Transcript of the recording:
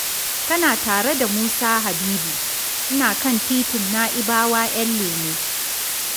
Kana tare da Musa Habibu, ina kan titin Na'ibawa Ƴanlemo.